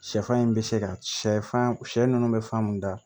Sɛfan in bɛ se ka sɛfan shɛ ninnu bɛ fan mun da